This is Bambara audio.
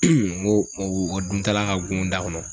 n ko o dun ta la ka go n da kɔnɔ.